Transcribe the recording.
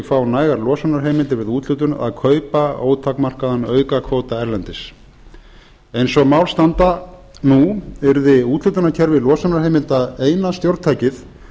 fá nægar losunarheimildir við úthlutun að kaupa ótakmarkaðan aukakvóta erlendis eins og mál standa nú yrði úthlutunarkerfi losunarheimilda eina stjórntækið